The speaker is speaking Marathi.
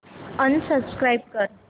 अनसबस्क्राईब कर